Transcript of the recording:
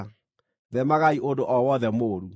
Theemagai ũndũ o wothe mũũru.